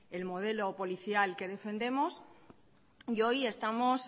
el modelo policial que defendemos y hoy estamos